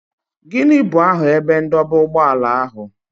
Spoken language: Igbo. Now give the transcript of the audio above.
Gịnị bụ aha ebe ndọba ụgbọala ahụ?